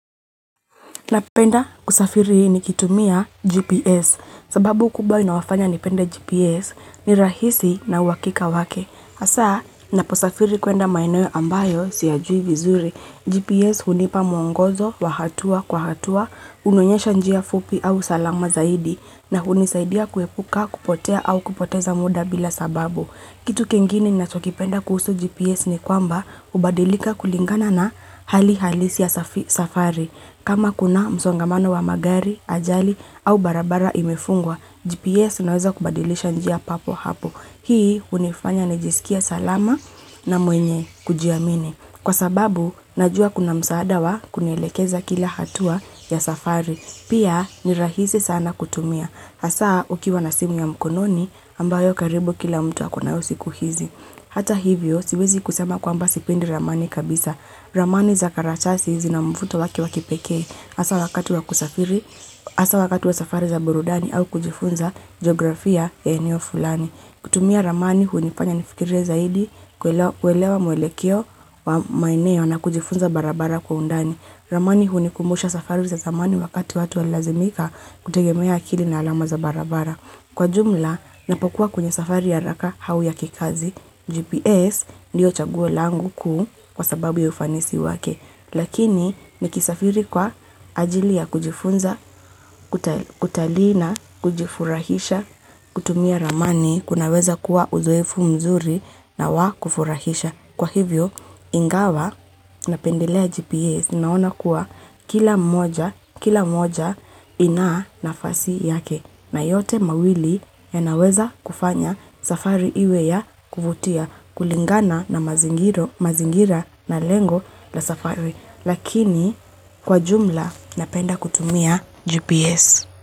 Napenda kusafiri ni kitumia GPS sababu kubwa inawafanya nipenda GPS ni rahisi na uwakika wake. Asa naposafiri kuenda maino ambayo siyajui vizuri. GPS hunipa mwongozo wa hatua kwa hatua, unonyesha njia fupi au salama zaidi na hunisaidia kuepuka kupotea au kupoteza muda bila sababu. Kitu kiengini natokipenda kuhusu GPS ni kwamba ubadilika kulingana na hali halisi ya safari. Kama kuna msongamano wa magari, ajali au barabara imefungwa, GPS naweza kubadilisha njia papo hapo. Hii unifanya nejisikia salama na mwenye kujiamine. Kwa sababu, najua kuna msaada wa kunelekeza kila hatua ya safari. Pia, nirahisi sana kutumia. Asa, ukiwa na simu ya mkononi ambayo karibu kila mtu wa kuna usiku hizi. Hata hivyo, siwezi kusema kwamba sipindi ramani kabisa. Ramani za karachasi hizi na mfuto waki wakipeke. Asa wakatu wa kusafiri, asa wakatu wa safari za burudani au kujifunza geografia ya enio fulani. Kutumia ramani hunifanya nifikire zaidi, kuelewa mwelekio wa maineo na kujifunza barabara kwa undani. Ramani hunikumusha safari za zamani wakati watu walazimika kutegemea akili na alamu za barabara. Kwa jumla, napokuwa kunye safari ya raka hau ya kikazi. GPS ndio chaguwe langu kuu kwa sababu ya ufanisi wake. Lakini, nikisafiri kwa ajili ya kujifunza, kutalina, kujifurahisha, kutumia ramani, kunaweza kuwa uzoefu mzuri na wa kufurahisha. Kwa hivyo, ingawa na pendelea GPS naona kuwa kila mmoja inaa na fasi yake na yote mawili ya naweza kufanya safari iwe ya kuvutia kulingana na mazingira na lengo la safari. Lakini, kwa jumla na penda kutumia GPS.